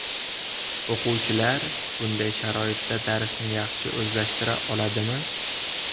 O‘quvchilar bunday sharoitda darsni yaxshi o‘zlashtira oladimi?